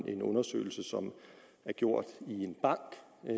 en undersøgelse som er gjort i en bank